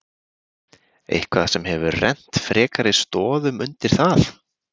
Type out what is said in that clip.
Eitthvað sem hefur rennt frekari stoðum undir það?